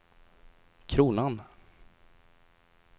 kronan